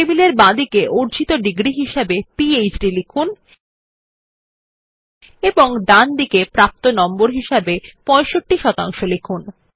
টেবিলে বাঁদিকে অর্জিত ডিগ্রী হিসাবে পিহেড লিখুন এবং ডান দিকে প্রাপ্ত নম্বর হিসাবে ৬৫ শতাংশ লিখুন